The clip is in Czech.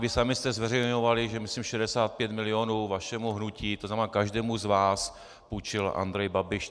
Vy sami jste zveřejňovali, že myslím 65 milionů vašemu hnutí, to znamená každému z vás, půjčil Andrej Babiš.